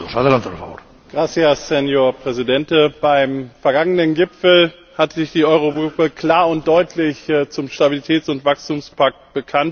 Herr Präsident! Beim vergangenen Gipfel hat sich die Euro Gruppe klar und deutlich zum Stabilitäts und Wachstumspakt bekannt.